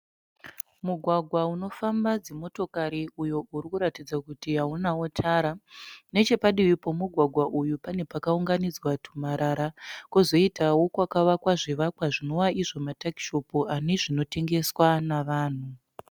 Mugwagwa unofamba dzimotokari uyo uri kuratidza kuti haunawo tara. Neche padivi pomugwagwa uyu pane pakaunganidzwa tumarara, kozoitawo kwakavakwa zvivakwa zvinova izvo matakishopu ane zvinotengeswa navanhu.